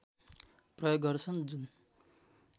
प्रयोग गर्छन् जुन